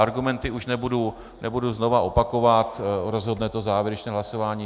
Argumenty už nebudu znova opakovat, rozhodne to závěrečné hlasování.